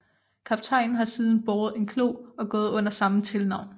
Kaptajnen har siden båret en klo og gået under samme tilnavn